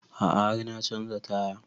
A'a har na canza taya